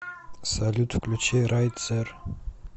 салют включи райт зер